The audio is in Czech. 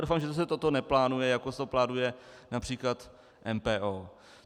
Doufám, že se toto neplánuje, jako si to plánuje například MPO.